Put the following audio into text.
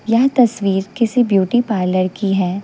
यह तस्वीर किसी ब्यूटी पार्लर की है।